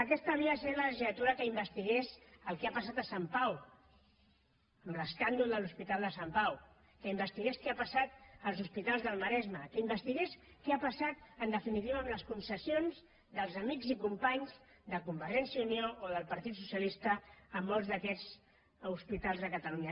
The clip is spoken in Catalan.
aquesta havia de ser la legislatura que investigués el que ha passat a sant pau l’escàndol de l’hospital de sant pau que investigués què ha passat als hospitals del maresme que investigués què ha passat en definitiva amb les concessions dels amics i companys de convergència i unió o del partit socialista en molts d’aquests hospitals de catalunya